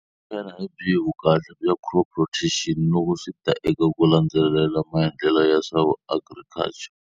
Xana hi byihi vukahle bya crop rotation loko swi ta eka ku landzelela maendlelo ya swa vu agriculture?